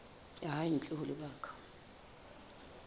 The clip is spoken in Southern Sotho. ya hae ntle ho lebaka